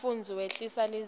umfundzi wehlisa lizinga